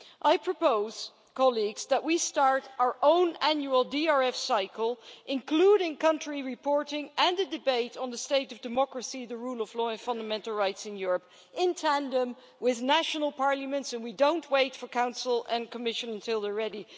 I propose that we start our own annual DRF cycle, including country reporting and a debate on the state of democracy, the rule of law and fundamental rights in Europe, in tandem with national parliaments, and we don't wait until the Council and Commission are ready.